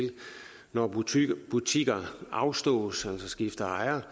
når butikker butikker afstås altså skifter ejer